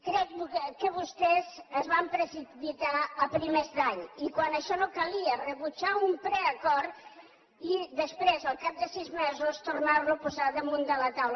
crec que vostès es van precipitar a primers d’any i quan això no calia rebutjar un preacord i després al cap de sis mesos tornar lo a posar damunt de la taula